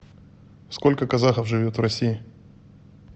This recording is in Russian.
сколько казахов живет в россии